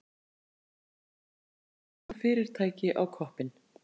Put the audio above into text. Komið stóru fyrirtæki á koppinn.